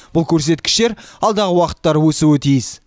бұл көрсеткіштер алдағы уақыттары өсуі тиіс